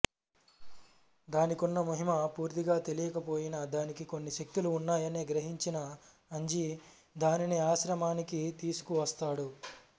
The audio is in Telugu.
దానికున్న మహిమ పూర్తిగా తెలియకపోయినా దానికి కొన్ని శక్తులు ఉన్నాయని గ్రహించిన అంజి దానిని ఆశ్రమానికి తీసుకువస్తాడు